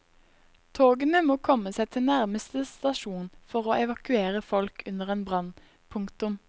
Togene må komme seg til nærmeste stasjon for å evakuere folk under en brann. punktum